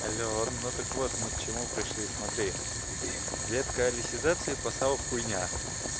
алло ну так вот мы к чему пришли смотри ветка алисизации послал хуйня